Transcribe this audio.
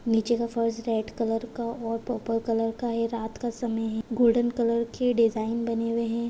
नीचे का फर्श रेड कलर का और पर्पल कलर का है रात का समय है गोल्डेन कलर के डिजाइन बने हुए है।